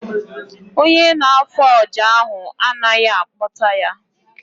Ọnye na-afụ ọjà ahụ anaghị akpota ya